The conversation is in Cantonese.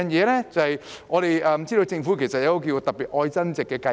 第二，我們知道政府推出了一項"特別.愛增值"計劃。